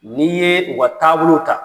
N'i ye u ka taabolow ta.